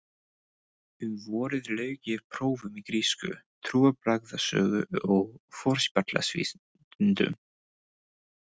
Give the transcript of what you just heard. Um vorið lauk ég prófum í grísku, trúarbragðasögu og forspjallsvísindum.